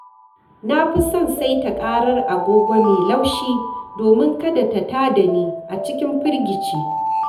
Na fi son saita ƙarar agogo mai laushi domin kada ta tada ni a cikin firgici.